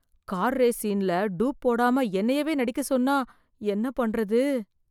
Car race சீன்ல dupe போடாம என்னையவே நடிக்க சொன்னா என்ன பண்றது?